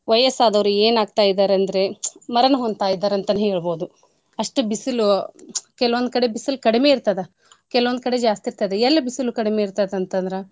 ವಯಸ್ಸ್ ಆದೋರು ಏನ್ ಆಗ್ತಾ ಇದಾರ್ ಅಂದ್ರೆ ಮರಣ ಹೊಂತಿದಾರ ಅಂತಾನೇ ಹೇಳ್ಬೋದು. ಅಷ್ಟ್ ಬೀಸಲು ಕೆಲವಂದ್ಕಡೆ ಬಿಸಲ್ ಕಡ್ಮೆ ಇರ್ತದ ಕೆಲವಂದ್ಕಡೆ ಜಾಸ್ತಿ ಇರ್ತದ ಎಲ್ ಬಿಸ್ಲ್ ಕಡಿಮೆ ಇರ್ತೈತಂತಂದ್ರ.